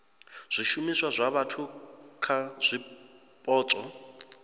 zwishumiswa zwa vhathu kha zwipotso